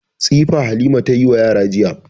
Tsifa Halima ta yi wa yara jiya.